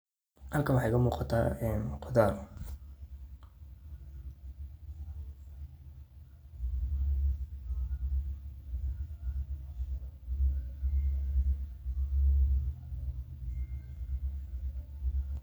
Halkan waxa iga muqaatah ee quthar .